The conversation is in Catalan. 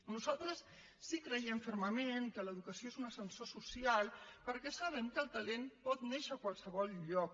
nosaltres sí que creiem fermament que l’educació és un ascensor social perquè sabem que el talent pot néixer a qualsevol lloc